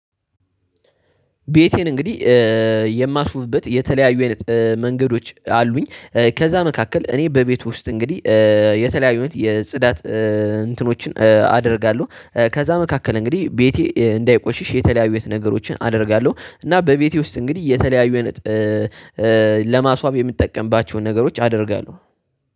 ቤቴን እንግዲህ የማስውብበት የተለያዩ አይነት መንገዶች አሉኝ። ከዛ መካከል እኔ በቤቱ ውስጥ እንግዲህ የተለያዩ አይነት የጽዳት እንትኖችን አደርጋለሁ። ከዛ መካከል እንግዲህ ቤቴ እንዳይቆሽሽ የተለያዩትአይነቶች ነገሮችን አደርጋለሁ። እና በቤቴ ውስጥ እንግዲህ የተለያዩ አይነት ለማስዋብ የምትጠቀምባቸውን ነገሮች አደርጋለሁ